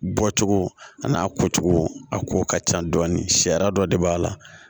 Bɔcogo ani a ko cogo a ko ka ca dɔɔni sariya dɔ de b'a la